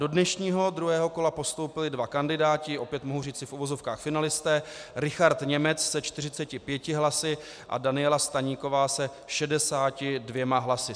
Do dnešního druhého kola postoupili dva kandidáti, opět mohu říci v uvozovkách finalisté: Richard Němec se 45 hlasy a Daniela Staníková se 62 hlasy.